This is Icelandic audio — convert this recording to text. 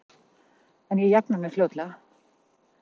En ég jafna mig fljótlega.